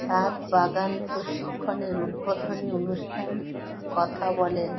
ছাদ বাগান প্রশিক্ষণের উদ্বোধনী অনুষ্ঠান কথা বলেন